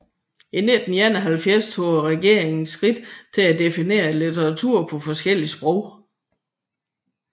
I 1971 tog regeringen skridt til at definere litteratur på forskellige sprog